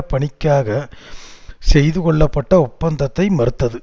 பணிக்காக செய்துகொள்ளப்பட்ட ஒப்பந்தத்தை மறுத்தது